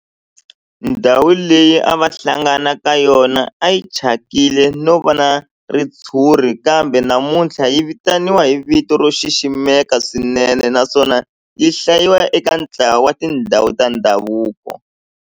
Ndhawu leyi a va hlangana ka yona a yi thyakile no va na ritshuri kambe namuntlha yi vitaniwa hi vito ro xiximeka swinene naswona yi hlayiwa eka ntlawa wa tindhawu ta ndhavuko.